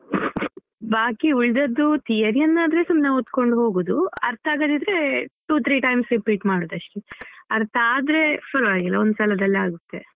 ಬಾಕಿ ಉಳ್ದದ್ದು theory ನ್ನು ಆದ್ರೆ ಸುಮ್ನೆ ಓದಿಕೊಂಡು ಹೋಗುದು ಅರ್ಥ ಆಗದಿದ್ರೆ two three times repeat ಮಾಡುದು ಅಷ್ಟೇ ಅರ್ಥ ಆದ್ರೆ ಪರವಾಗಿಲ್ಲ ಒಂದ್ ಸಲದಲ್ಲೇ ಆಗುತ್ತೆ.